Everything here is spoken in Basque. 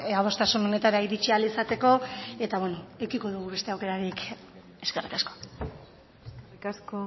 adostasun honetara iritsi ahal izateko eta edukiko dugu beste aukerarik eskerrik asko eskerrik asko